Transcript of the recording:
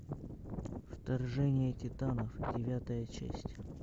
вторжение титанов девятая часть